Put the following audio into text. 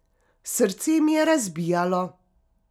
Srce mi je razbijalo.